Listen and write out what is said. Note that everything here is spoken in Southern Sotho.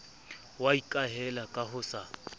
wa ikahela ka ho sa